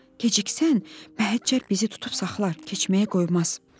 Keçiksən, Məhəccər bizi tutub saxlar, keçməyə qoymaz.